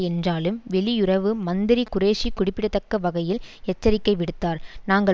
என்றாலும் வெளியுறவு மந்திரி குரேஷி குறிப்பிடத்தக்க வகையில் எச்சரிக்கை விடுத்தார் நாங்கள்